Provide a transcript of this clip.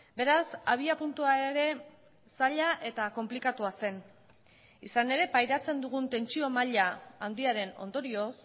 beraz abiapuntua ere zaila eta konplikatua zen izan ere pairatzen dugun tentsio maila handiaren ondorioz